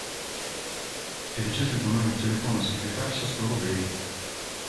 перечислить на номер телефона секретарша сто рублей